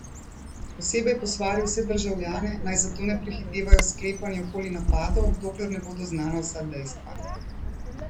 Posebej je posvaril vse državljane, naj zato ne prehitevajo s sklepanji okoli napadov, dokler ne bodo znana vsa dejstva.